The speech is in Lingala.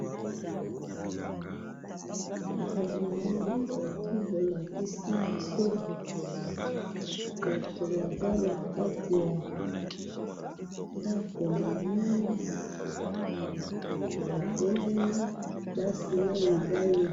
oyo namoni foto bolakisi biso batu baza nakati ya ndaku munene batelemi basi na mibali